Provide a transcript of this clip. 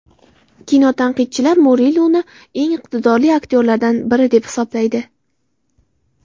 Kinotanqidchilar Muriluni eng iqtidorli aktyorlardan biri deb hisoblaydi.